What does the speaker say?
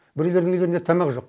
біреулерінің үйлерінде тамақ жоқ